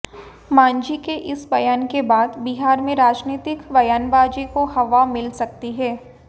मांझी के इस बयान के बाद बिहार में राजनीतिक बयानबाजी को हवा मिल सकती है